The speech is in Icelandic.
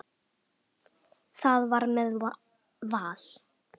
Það var með Val.